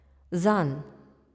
Zanj.